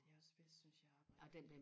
det er også bedst synes jeg og arbejde